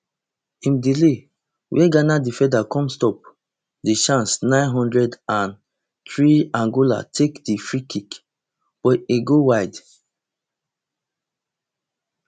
im delay wia ghana defender come stop di chance nine hundred and threeangola take di freekick but im go wide